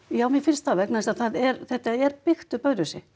já mér finnst það vegna þess að það er þetta er byggt upp öðruvísi